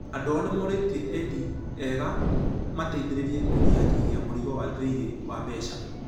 Andũ ao nĩmoretie aendi ega mateithererie kũnyihanyihia mũrigo wa thirĩ wa mbeca.